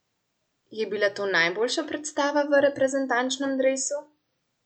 Je bila to najboljša predstava v reprezentančnem dresu?